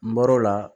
N bɔr'o la